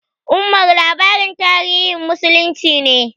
"Omar" labarin tarihin muslunci ne.